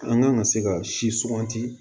An kan ka se ka siwanti